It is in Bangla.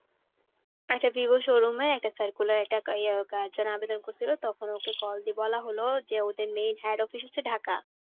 আচ্ছা vivo showroom এ একটা circular একটা জন্য আবেদন করছিল তখন ওকে call দিয়ে বলা হল যে ওদের main head office হচ্ছে ঢাকা.